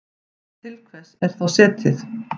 Til hvers er þá setið?